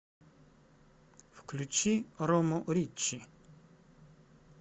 включи рому риччи